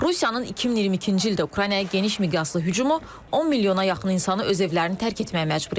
Rusiyanın 2022-ci ildə Ukraynaya geniş miqyaslı hücumu 10 milyona yaxın insanı öz evlərini tərk etməyə məcbur edib.